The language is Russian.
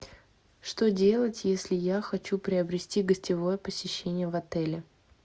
что делать если я хочу приобрести гостевое посещение в отеле